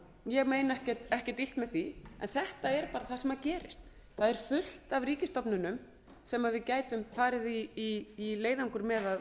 ég meina ekkert illt með því en þetta er bara það sem gerist það er fullt af ríkisstofnunum sem við gætum farið í leiðangur með